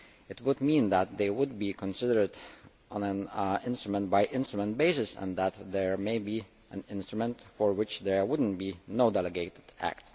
It would mean that they would be considered on an instrument by instrument basis and that there might be an instrument for which there would be no delegated act.